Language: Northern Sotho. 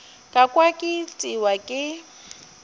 ka kwa ke itiwa ke